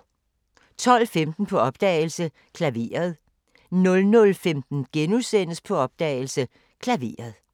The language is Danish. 12:15: På opdagelse – Klaveret 00:15: På opdagelse – Klaveret *